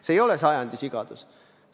See ei ole sajandi sigadus.